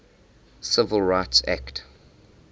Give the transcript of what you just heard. civil rights act